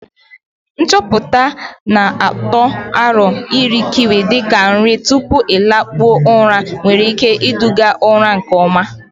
Nchọpụta na-atụ aro iri kiwi dị ka nri tupu ịlakpu ụra nwere ike iduga ụra nke ọma!